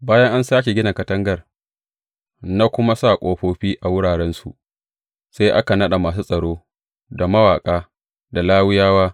Bayan an sāke gina katangar na kuma sa ƙofofi a wurarensu, sai aka naɗa masu tsaro, da mawaƙa, da Lawiyawa.